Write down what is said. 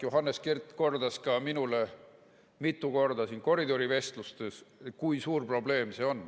Johannes Kert kordas ka minule mitu korda siin koridorivestlustes, kui suur probleem see on.